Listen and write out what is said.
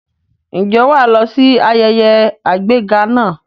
Ǹjẹ́ wà á lọ sí ayẹyẹ àgbéga náà?